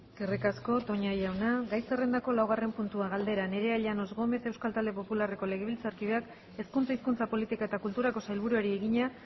eskerrik asko toña jauna gai zerrendako laugarren puntua galdera nerea llanos gómez euskal talde popularreko legebiltzarkideak hezkuntza hizkuntza politika eta kulturako sailburuari egina